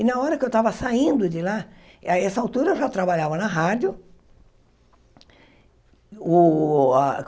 E na hora que eu estava saindo de lá, a essa altura eu já trabalhava na rádio. O ah